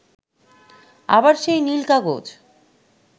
আবার সেই নীল কাগজ